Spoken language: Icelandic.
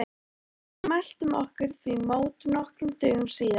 Við mæltum okkur því mót nokkrum dögum síðar.